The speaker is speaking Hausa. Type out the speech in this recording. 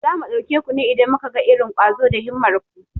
Za mu ɗauke ku ne idan muka ga irin ƙwazo da himmar ku.